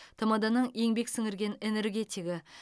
тмд ның еңбек сіңірген энергетигі